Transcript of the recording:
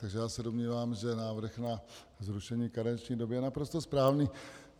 Takže já se domnívám, že návrh na zrušení karenční doby je naprosto správný.